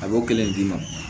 A b'o kelen d'i ma